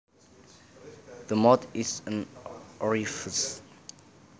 The mouth is an orifice